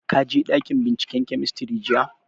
Ka je ɗakin binciken kemistri jiya?